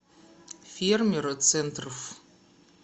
фермер центррф